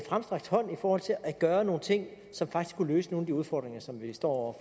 fremstrakt hånd i forhold til at gøre nogle ting som faktisk kunne løse nogle af de udfordringer som vi står